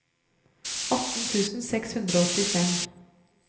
atten tusen seks hundre og åttifem